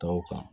Taw kan